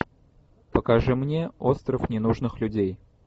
покажи мне остров ненужных людей